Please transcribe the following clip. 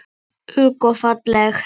Ung og falleg.